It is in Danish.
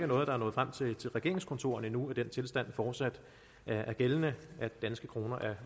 noget der er nået frem til regeringskontorerne endnu at den tilstand fortsat er gældende at danske kroner er